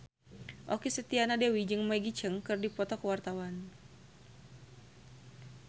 Okky Setiana Dewi jeung Maggie Cheung keur dipoto ku wartawan